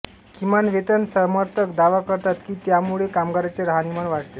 किमान वेतन समर्थक दावा करतात की यामुळे कामगारांचे राहणीमान वाढते